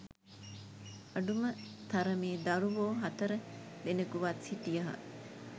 අඩුම තරමේ දරුවෝ හතර දෙනකුවත් සිටියහ